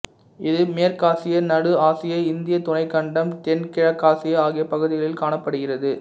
இது மேற்காசியா நடு ஆசியா இந்தியத் துணைக்கண்டம் தென்கிழக்காசியா ஆகிய பகுதிகளில் காணப்படுகிறது